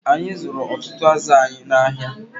Anyị zụrụ ọtụtụ azụ anyị n'ahịa